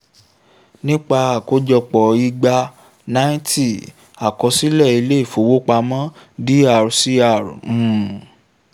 nípa àkójọpọ̀ igba ninety àkọsílẹ̀ ilé ìfowópamọ́ dr cr um